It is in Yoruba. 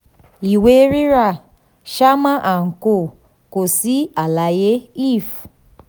ìwé rírà: sharma & co. kò sí àlàyé lf.